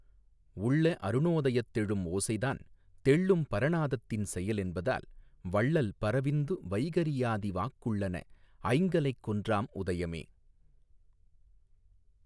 உள்ள அருணோதயத்தெழும் ஓசைதான் தெள்ளும் பரநாதத்தின் செயலென்பதால் வள்ளல் பரவிந்து வைகரி யாதிவாக் குள்ளன ஐங்கலைக் கொன்றாம் உதயமே.